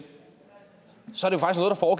så